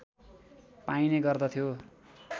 पाइने गर्दथ्यो